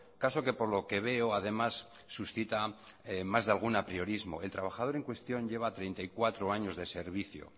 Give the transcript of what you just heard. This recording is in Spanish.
caso que por lo que veo además suscita más de algún apriorismo el trabajador en cuestión lleva treinta y cuatro años de servicio